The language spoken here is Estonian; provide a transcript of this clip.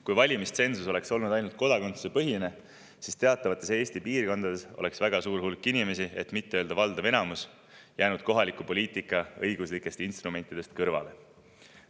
Kui valimistsensus oleks olnud ainult kodakondsusepõhine, siis oleks teatavates Eesti piirkondades väga suur hulk inimesi, et mitte öelda valdav enamus, jäänud kohaliku poliitika õiguslikest instrumentidest kõrvale.